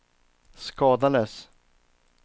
skadades